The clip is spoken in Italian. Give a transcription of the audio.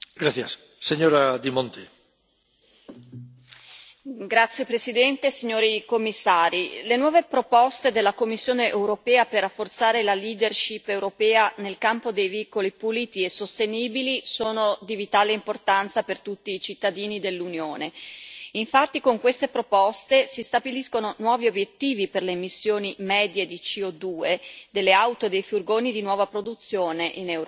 Signor Presidente, onorevoli colleghi, signori Commissari, le nuove proposte della Commissione europea per rafforzare la leadership europea nel campo dei veicoli puliti e sostenibili sono di vitale importanza per tutti i cittadini dell'Unione. Infatti, con queste proposte si stabiliscono nuovi obiettivi per le emissioni medie di CO2 delle auto e dei furgoni di nuova produzione, in Europa.